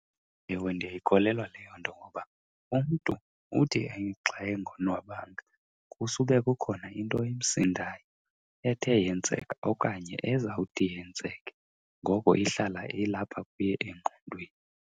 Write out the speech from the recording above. Ewe, ndiyayikholelwa leyo nto ngoba umntu uthi xa engonwabanga kusube kukhona into emsindayo ethe yenzeka okanye ezawuthi yenzeke. Ngoko ihlala ilapha kuye engqondweni.